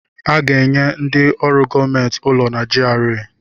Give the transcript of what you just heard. Aga-enye ndị ọrụ gọọmentị ụlọ na GRA